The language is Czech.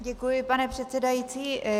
Děkuji, pane předsedající.